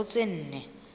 ho isa ho tse nne